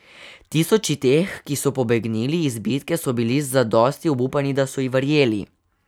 Tisoči teh, ki so pobegnili iz bitke, so bili zadosti obupani, da so ji verjeli.